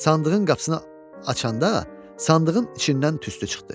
Sandığın qapısını açanda, sandığın içindən tüstü çıxdı.